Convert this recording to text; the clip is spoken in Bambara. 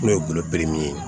N'o ye golo ye